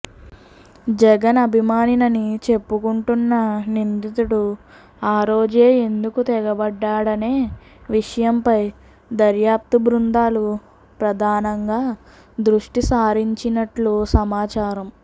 జగన్ అభిమానినని చెప్పుకుంటున్న నిందితుడు ఆ రోజే ఎందుకు తెగబడ్డాడనే విషయంపై దర్యాప్తు బృందాలు ప్రధానంగా దృష్టి సారించినట్లు సమాచారం